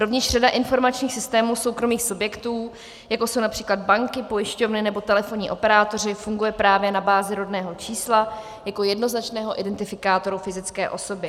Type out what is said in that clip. Rovněž řada informačních systémů soukromých subjektů, jako jsou například banky, pojišťovny nebo telefonní operátoři, funguje právě na bázi rodného čísla jako jednoznačného identifikátoru fyzické osoby.